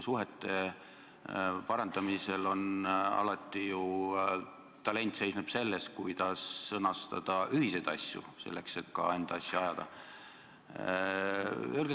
Suhete parandamisel väljendub talent ju selles, kuidas sõnastada ühiseid asju, selleks et ka enda asja ajada.